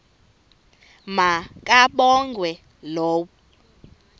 ma kabongwe low